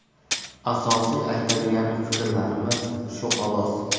Asosiy aytadigan fikrlarimiz shu xolos.